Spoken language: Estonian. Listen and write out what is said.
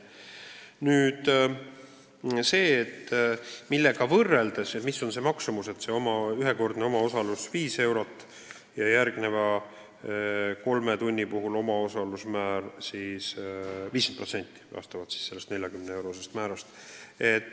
Nüüd selle abi maksumusest: ühekordne omaosalus 5 eurot, kaks tundi tasuta nõu ja järgmise kolme tunni puhul on omaosaluse määr 50% 40-eurosest määrast.